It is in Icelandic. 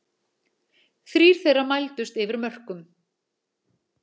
Þrír þeirra mældust yfir mörkum